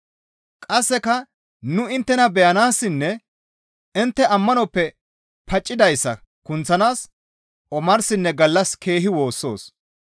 Qasseka nu inttena beyanaassinne intte ammanoppe paccidayssa kunththanaas omarsinne gallas keehi woossoos.